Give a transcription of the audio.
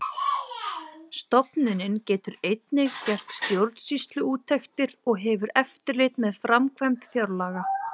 Stofnunin getur einnig gert stjórnsýsluúttektir og hefur eftirlit með framkvæmd fjárlaga.